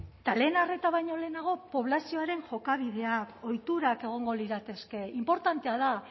eta lehen arreta baino lehenago poblazioaren jokabidea ohiturak egongo lirateke inportantea da